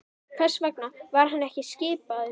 Hvers vegna var hann ekki skipaður?